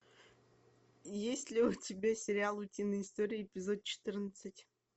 есть ли у тебя сериал утиные истории эпизод четырнадцать